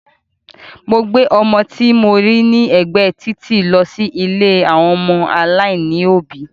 Mo gbé ọmọ tí mo rí ní ẹgbẹ́ títì lọ sí ilé àwọn ọmọ aláìní òbí